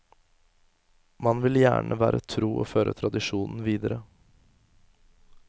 Man vil gjerne være tro og føre tradisjonen videre.